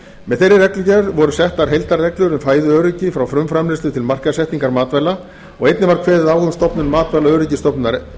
með þeirri reglugerð voru settar heildarreglur um fæðuöryggi frá frumframleiðslu til markaðssetningar matvæla og einnig var kveðið á um stofnun matvælaöryggisstofnunar